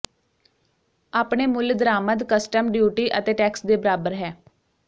ਆਪਣੇ ਮੁੱਲ ਦਰਾਮਦ ਕਸਟਮ ਡਿਊਟੀ ਅਤੇ ਟੈਕਸ ਦੇ ਬਰਾਬਰ ਹੈ